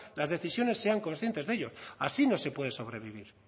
las decisiones sean conscientes de ello así no se puede sobrevivir